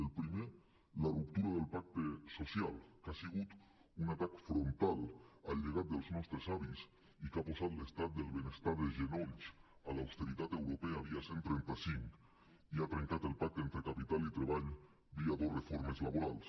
el primer la ruptura del pacte social que ha sigut un atac frontal al llegat dels nostres avis i que ha posat l’estat del benestar de genolls a l’austeritat europea via cent i trenta cinc i ha trencat el pacte entre capital i treball via dos reformes laborals